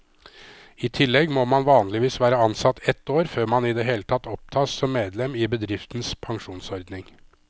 I tillegg må man vanligvis være ansatt ett år før man i det hele tatt opptas som medlem i bedriftens pensjonsordning.